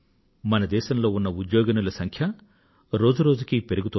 మన దేశంలో ఉన్న ఉద్యోగినుల సంఖ్య రోజు రోజుకూ పెరుగుతోంది